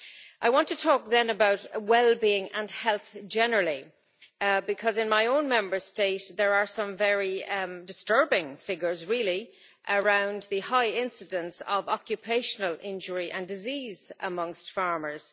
I want to talk also about well being and health generally, because in my own Member State there are some very disturbing figures around the high incidence of occupational injury and disease amongst farmers.